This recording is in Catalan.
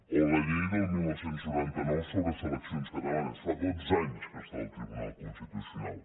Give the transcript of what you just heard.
o la llei del dinou noranta nou sobre seleccions catalanes fa dotze anys que està al tribunal constitucional